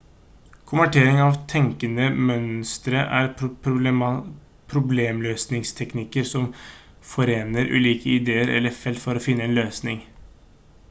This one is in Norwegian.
konvertering av tenkende mønstre er problemløsningsteknikker som forener ulike ideer eller felt for å finne en løsning